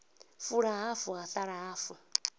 fula hafu ha sala hafu